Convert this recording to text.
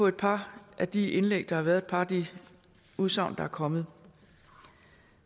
et par af de indlæg der har været og et par af de udsagn der er kommet